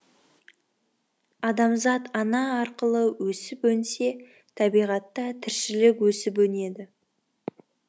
адамзат ана арқылы өсіп өнсе табиғатта тіршілік өсіп өнеді